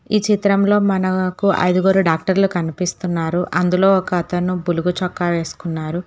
ఈ చిత్రం లో మనకు ఐదుగురు డాక్టర్ లు కనిపిస్తున్నారు అందులో ఒక అతను బులుగు చొక్క వేసుక్కని వున్నారు.